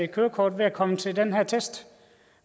kørekort ved at komme til den her test